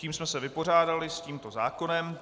Tím jsme se vypořádali s tímto zákonem.